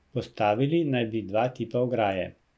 Postavili naj bi dva tipa ograje.